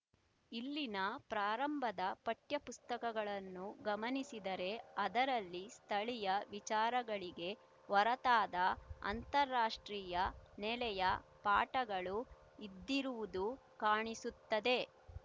ಇಲ್ಲಿನ ಪ್ರಾರಂಭದ ಪಠ್ಯಪುಸ್ತಕಗಳನ್ನು ಗಮನಿಸಿದರೆ ಅದರಲ್ಲಿ ಸ್ಥಳೀಯ ವಿಚಾರಗಳಿಗೆ ಹೊರತಾದ ಅಂತಾರಾಷ್ಟ್ರೀಯ ನೆಲೆಯ ಪಾಠಗಳು ಇದ್ದಿರುವುದು ಕಾಣಿಸುತ್ತದೆ